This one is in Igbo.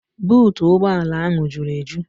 Buutu ụgbọala ahụ juru eju.